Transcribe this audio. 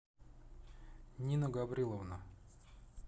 нина гавриловна